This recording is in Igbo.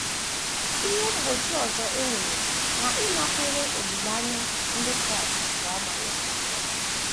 Ihe mgbochi ọzọ e nwere n’ịnakwere olileanya ndị Kraịst bụ amaghị akwụkwọ.